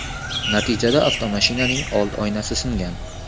Natijada avtomashinaning old oynasi singan.